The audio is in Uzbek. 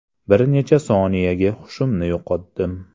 Bir necha soniyaga hushimni yo‘qotdim.